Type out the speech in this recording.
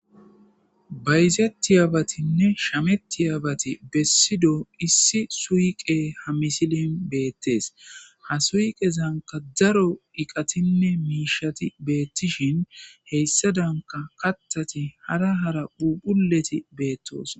Bayzettiyabatinne shametiyabati bessido issi suyqe ha misilen beettes. ha suyqezanka daro iqatinne miishati beettishin heyssa danka kaththati hara hara phuuphphulleti beettoosona.